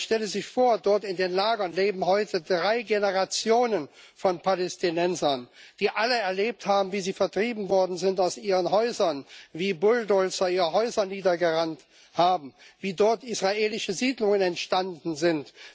Man stelle sich vor Dort in den Lagern leben heute drei Generationen von Palästinensern, die alle erlebt haben, wie sie vertrieben worden sind aus ihren Häusern, wie Bulldozer ihre Häuser niedergewalzt haben, wie dort israelische Siedlungen entstanden sind.